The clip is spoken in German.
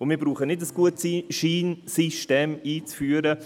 Wir brauchen nicht ein Gutschein-System einzuführen;